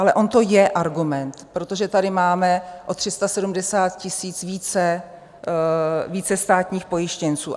Ale on to je argument, protože tady máme o 370 000 více státních pojištěnců.